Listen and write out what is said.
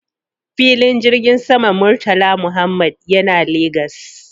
Filin jirgin saman Murtala Muhammad yana Legas